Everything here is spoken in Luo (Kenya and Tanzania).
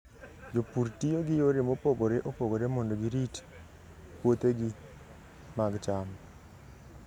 Jopur tiyo gi yore mopogore opogore mondo girit puothegi mag cham.